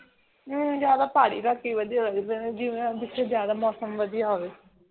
ਜਿਵੇਂ ਪਹਾੜੀ ਇਲਾਕੇ ਵਧੀਆ ਲੱਗਦੇ ਨੇ ਜਿਥੇ ਜਾ ਦਾ ਮੌਸਮ ਵਧੀਆ ਹੋਵੇ